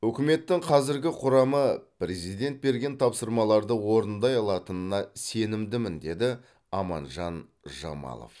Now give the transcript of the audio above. үкіметтің қазіргі құрамы президент берген тапсырмаларды орындай алатынына сенімдімін деді аманжан жамалов